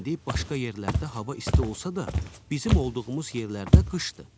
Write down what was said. İndi başqa yerlərdə hava isti olsa da, bizim olduğumuz yerlərdə qışdır.